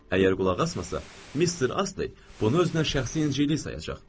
Əgər qulaq asmasa, Mister Astley bunu özünə şəxsi incilik sayacaq.